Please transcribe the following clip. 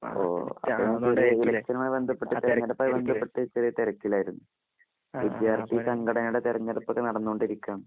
ഓ ഞാൻ ഇവിടെ തിരഞ്ഞ് എടുപ്പുമായി ബന്ധപ്പെട്ട കാര്യങ്ങൾ ബന്ധപ്പെട്ട് ചെറിയ തിരക്കിൽആയിരുന്നു . വിദ്യാർത്ഥി സംഘടനകളുടെ തെരഞ്ഞെടുപ്പ് ഒക്കെ നടന്നുകൊണ്ടിരിക്കുകആണ് .